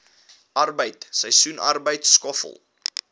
arbeid seisoensarbeid skoffel